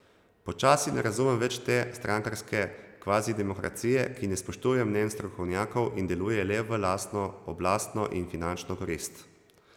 Počasi ne razumem več te strankarske kvazidemokracije, ki ne spoštuje mnenj strokovnjakov in deluje le v lastno oblastno in finančno korist.